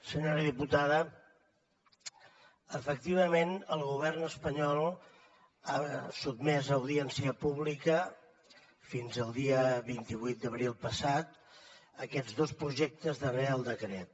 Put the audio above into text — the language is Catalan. senyora diputada efectivament el govern espanyol ha sotmès a audiència pública fins al dia vint vuit d’abril passat aquests dos projectes de reial decret